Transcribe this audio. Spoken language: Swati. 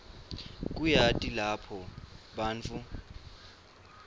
kuyati lapho bantfu